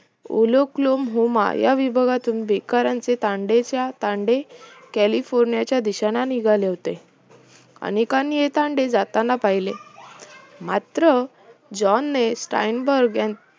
उलोकलोम हुमा या विभागामधून बेकारांचे तांडेच्या तांडे कालिफोर्नियाच्या दिशेला निघाले होते अनेकांनी हे तांडे जाताना पाहिले मात्र जोन्स स्टाईनबर्ग यां